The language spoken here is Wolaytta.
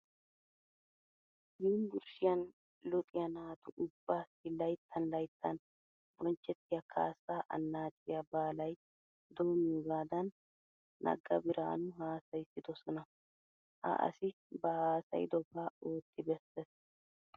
Yunbburshshiyan luxiya naatu ubbaassi laytttan laytttan bonchchettiya kaassaa annaaciya baalay doimmiyogaadan Nagga Birhaanu hassayissidosona. Ha asi ba haasayidobaa ootti bessees.